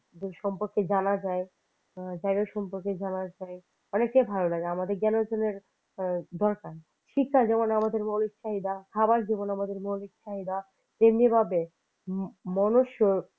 দূর সম্পর্কে জানা যায় তার সম্পর্কে জানা যায় অনেকের ভালো লাগে আমাদের generation দরকার শিক্ষা যেমন আমাদের মৌলিক চাহিদা খাবার যেমন আমাদের মৌলিক চাহিদা তেমনি বাদে মনুষ্য